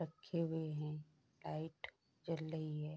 रखे हुए हैं लाइट जल रही है।